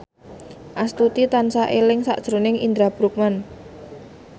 Astuti tansah eling sakjroning Indra Bruggman